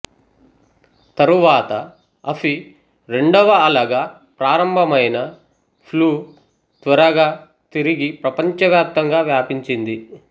తరువాత అఫి రెండవ అలగా ప్రారంభమైన ఫ్లూ త్వరగా తిరిగి ప్రపంచవ్యాప్తంగా వ్యాపించింది